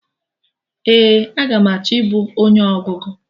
Ee, aga m achọ ibu onye ọgụgụ